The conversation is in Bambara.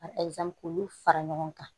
Ka k'olu fara ɲɔgɔn kan